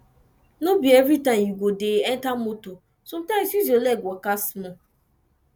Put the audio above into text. no be everytime you go de enter motor sometimes use your leg waka small